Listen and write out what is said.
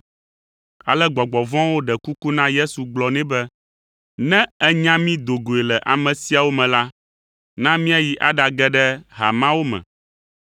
Ale gbɔgbɔ vɔ̃awo ɖe kuku na Yesu gblɔ nɛ be, “Ne ènya mí do goe le ame siawo me la, na míayi aɖage ɖe ha mawo me.”